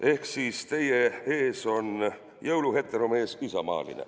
Ehk siis: "teie ees on jõuluheteromees isamaaline".